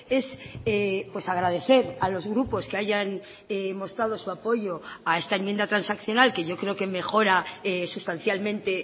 es agradecer a los grupos que hayan mostrado su apoyo a esta enmienda transaccional que yo creo que mejora sustancialmente